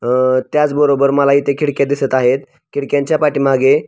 अ त्याचबरोबर मला इथे खिडक्या दिसत आहेत त्याच्या पाठी मागे --